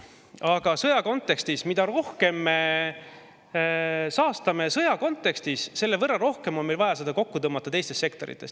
Aga mida rohkem me saastame sõja kontekstis, selle võrra rohkem on meil vaja seda kokku tõmmata teistes sektorites.